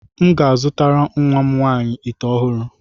M ga-azụtara nwa m nwaanyị ite ọhụrụ.